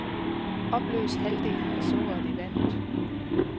Opløs halvdelen af sukkeret i vandet.